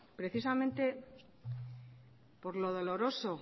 precisamente por lo doloroso